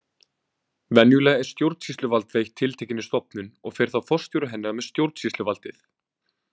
Venjulega er stjórnsýsluvald veitt tiltekinni stofnun og fer þá forstjóri hennar með stjórnsýsluvaldið.